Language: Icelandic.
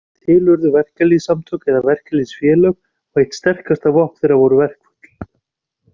Til urðu verkalýðssamtök eða verkalýðsfélög, og eitt sterkasta vopn þeirra voru verkföll.